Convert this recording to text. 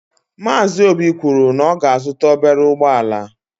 Maazi óbì kwụrụ na ọ ga -azuta ọbere ụgbọala.